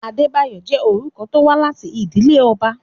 Adébáyọ̀ jẹ́ orúkọ tó wá láti ìdílé ọba.